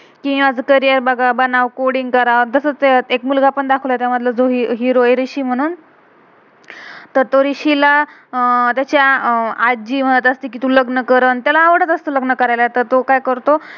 मी आज घरी आहे बघा, बना कोडिंग करा. तसच एक मुलगा पण दाखवलय त्यामधला एक~एक हीरो वरिशी आहे ना तर तो रिशी ला त्याची आजी म्हणत असते कि तू लग्न कर, आणि त्याला आवडत असतं लग्न करायला.